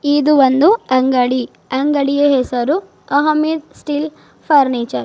ಇದು ಒಂದು ಅಂಗಡಿ ಅಂಗಡಿಯ ಹೆಸರು ಅಹಮದ್ ಸ್ಟೀಲ್ ಫರ್ನಿಚರ್ .